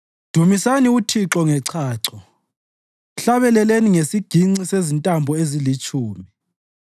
Dumisani uThixo ngechacho; mhlabeleleni ngesiginci sezintambo ezilitshumi.